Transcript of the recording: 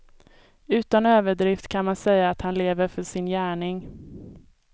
Utan överdrift kan man säga att han lever för sin gärning.